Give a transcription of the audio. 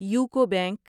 UCO bank